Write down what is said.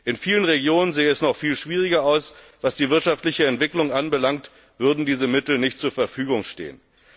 In vielen Regionen sähe es noch viel schwieriger aus, was die wirtschaftliche Entwicklung anbelangt, würden diese Mittel nicht zur Verfügung stehen.